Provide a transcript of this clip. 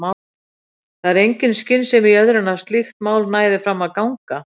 Það var engin skynsemi í öðru en að slíkt mál næði fram að ganga.